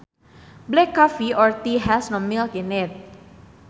Black coffee or tea has no milk in it